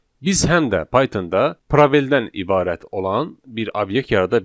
Biz həm də Pythonda probeldən ibarət olan bir obyekt yarada bilərik.